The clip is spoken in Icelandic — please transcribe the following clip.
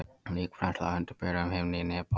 Líkbrennsla undir berum himni í Nepal.